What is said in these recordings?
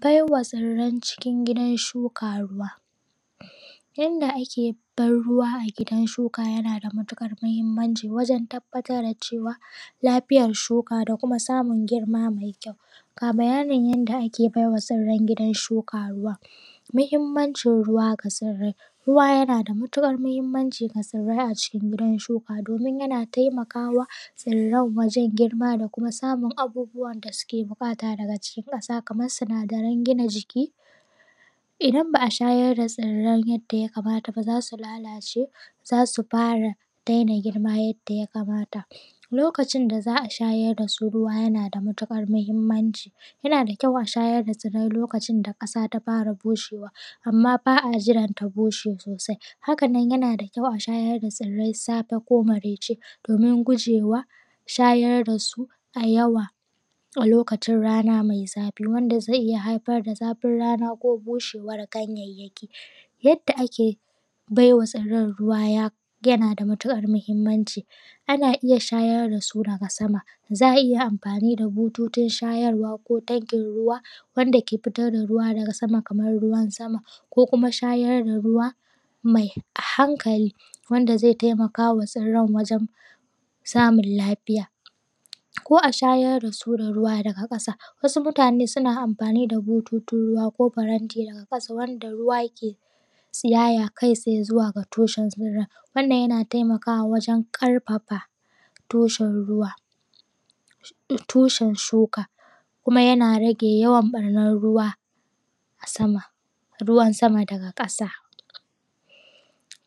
Bai wa tsirran cikin gidan shuka ruwa. Yadda ake ban ruwa a gidan shuka yana da matuƙar muhimmanci wajen tabbatar da lafiyar shuka da kuma samun girma mai kyau. Ga bayyanin yadda ake bai ma tsirran gidan shuka ruwa. Muhimmancin ruwa ga tsirrai ruwa yana da matuƙar muhimmanci ga tsirrai a cikin gidan shuka, domin yana taimaka wa tsirran wajen girma da kuma samun abubuwan da su ke buƙata daga cikin ƙasa. kamar sinadaran gina jiki idan ba a shayar da tsirren yarda ya kamata ba za su lalace, za su fara daina girma yadda ya kamata. Lokacin da za a shayar da su ruwa yana da matuƙar muhimmanci, yana da kyau a shayar da tsirrai ruwa lokacin da ƙasa ta fara bushewa. Amma ba a jiran ta bushe sosai. Haka nan yana da kyau a shayar da tsirrai da safe ko maraice. Domin gujewa shayar da su da yawa a lokacin rana mai zafi wanda zai iya haifar da zafin rana ko bushewan ganyanyaki. Yadda ake baiwa tsirren ruwa yana da matukar mahimmanci ana iya shayar da su daga sama. Za a iya amfani da bututun shayarwa ko tankin ruwa wanda ke fitar da ruwa daga sama kamar ruwan sama, ko kuma shayar da ruwa mai hankali wanda zai taimaka wa tsirran wajen samun lafiya ko a shayar da su ruwa daga ƙasa. Wasu mutane suna amfani da bututun ruwa, ko faranti daga ƙasa wanda ruwa ke tsiyaya kai tsaye zuwa ga tushen tsirran. Wannan yana taimaka wa wajen ƙarfafa tushen ruwa. Tushen shuka kuma yana rage yawan barnan ruwa a sama ruwan sama daga ƙasa.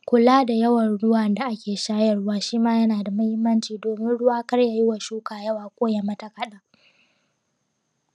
Kula da yawar ruwan da ake shayarwa shima yana da mahimmanci domin ruwa kar yayi ma shuka yawa ko ya yi mata kadan